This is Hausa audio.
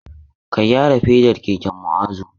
Ka gyara fedar keken Mu'azu!